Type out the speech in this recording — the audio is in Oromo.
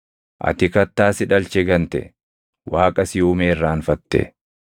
Ati Kattaa si dhalche gante; Waaqa si uume irraanfatte.